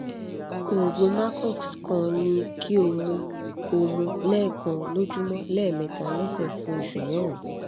oògùn macox kan ni kí o mu o mu lẹ́ẹ̀kan lójúmọ́ lẹ́ẹ̀mẹta lọ́sẹ̀ fún oṣù mẹ́rin